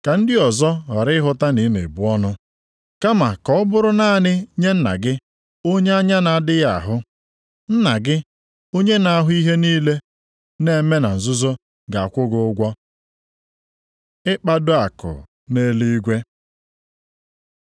ka ndị ọzọ ghara ịhụta na ị na-ebu ọnụ kama ka ọ bụrụ naanị nye Nna gị, onye anya na-adịghị ahụ. Nna gị, onye na-ahụ ihe niile na-eme na nzuzo, ga-akwụ gị ụgwọ. Ịkpado akụ nʼeluigwe